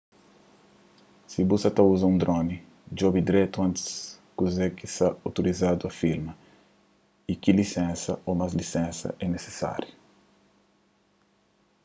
si bu sa ta uza un droni djobe dretu antis kuze ki sta outorizadu a filma y ki lisensa ô más lisensas é nisisáriu